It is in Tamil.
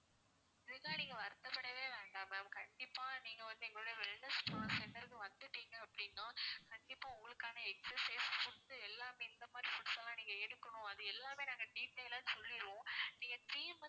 அதுக்காக நீங்க வருத்தப்படவே வேண்டாம் ma'am கண்டிப்பா நீங்க வந்து எங்களோட wellness center க்கு வந்துட்டீங்க அப்படின்னா கண்டிப்பா உங்களுக்கான exercise food எல்லாமே எந்த மாதிரி foods லாம் நீங்க எடுக்கனும் அது எல்லாமே நாங்க detail லா சொல்லிருவோம் நீங்க three month